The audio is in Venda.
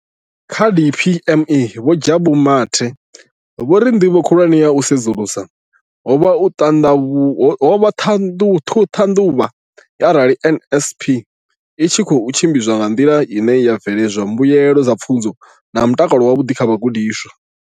Kha DPME, Vho Jabu Mathe, vho ri ndivho khulwane ya u sedzulusa ho vha u ṱhaṱhuvha arali NSNP i tshi khou tshimbidzwa nga nḓila ine ya bveledza mbuelo dza pfunzo na mutakalo wavhuḓi kha vhagudiswa.